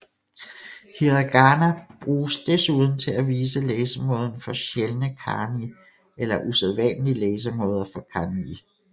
Hiragana bruges desuden til at vise læsemåden for sjældne kanji eller usædvanlige læsemåder for kanji